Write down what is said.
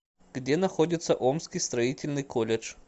где находится омский строительный колледж